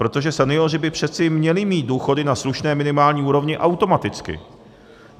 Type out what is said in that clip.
Protože senioři by přece měli mít důchody na slušné minimální úrovni automaticky.